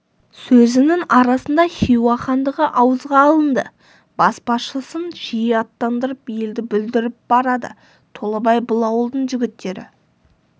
сөзінің арасында хиуа хандығы ауызға алынды баспашысын жиі аттандырып елді бүлдіріп барады толыбай бұл ауылдың жігіттері